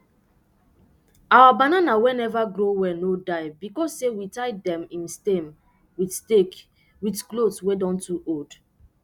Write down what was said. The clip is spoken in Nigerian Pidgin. our banana wey neva grow well no die because sey we tie dem im stem with stake with cothes wey don too old